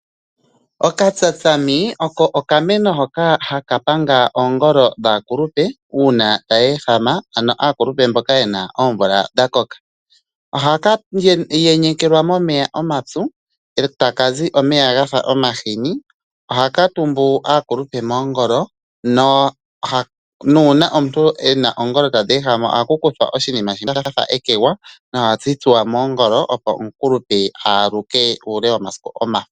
Okatsatsami oko okameno hono haka panga oongolo dhaakulupe uuna tayeehama, ano aakulupe mboka yena oomvula dhakoka. Ohaka yenyekelwa momeya omapyu etakazi omeya gafa omahini ohakatumbu aakulupe moongolo nuuna omuntu ena oongolo tadheehama ohakukuthwa oshiima shafa ekegwa no hashi tsuwa moongolo opo omukulupe aaluke muule womasiku omashona.